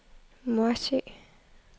Morsø